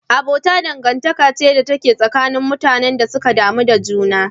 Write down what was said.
Abota dangantaka ce tsakanin mutanen da suka damu da juna.